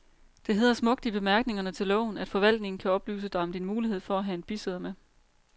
Det hedder smukt i bemærkningerne til loven, at forvaltningen kan oplyse dig om din mulighed for at have en bisidder med.